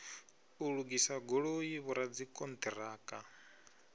u lugisa goloi vhoradzikhon ṱiraka